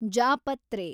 ಜಾಪತ್ರೆ